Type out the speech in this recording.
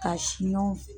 Ka siɲɔ